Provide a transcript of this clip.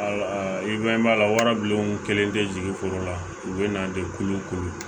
I bɛ mɛn a la wara bilen o kɛlen tɛ jigin foro la u bɛ na dekun ko